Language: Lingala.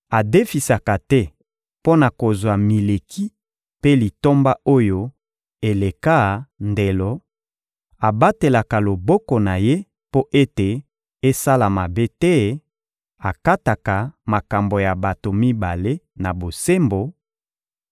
adefisaka te mpo na kozwa mileki mpe litomba oyo eleka ndelo, abatelaka loboko na ye mpo ete esala mabe te, akataka makambo ya bato mibale na bosembo;